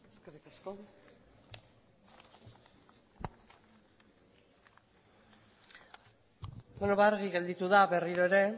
eskerrik asko beno ba argi gelditu da berriro ere